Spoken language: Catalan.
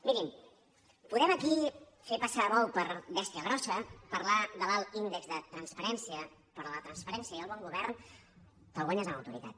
mirin podem aquí fer passar bou per bèstia grossa parlar de l’alt índex de transparència però la transparència i el bon govern te’l guanyes amb autoritat